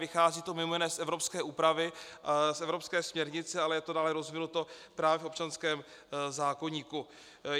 Vychází to mimo jiné z evropské úpravy, z evropské směrnice, ale je to dále rozvinuto právě v občanském zákoníku.